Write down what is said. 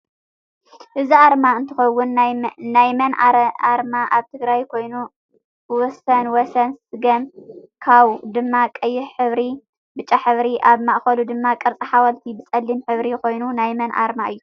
አዚ አረማ እንትከውን ናይ መን አረማ አብ ትግራይ ኮይኑ ወሰነ ወሰን ሰገም ካው ድማ ቀይሕ ሕብሪ ፣ብጫሕብሪ ኣብ ማኣከሉ ድማ ቅርፂ ሓወልቲ ብፀሊም ሕብሪ ኮይኑ ናይመን አርማ እዩ?